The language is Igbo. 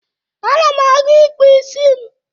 Ana m aga ịkpụ isi m.